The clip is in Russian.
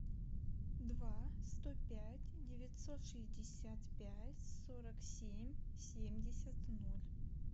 два сто пять девятьсот шестьдесят пять сорок семь семьдесят ноль